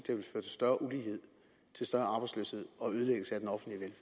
større ulighed til større arbejdsløshed og ødelæggelse af den offentlige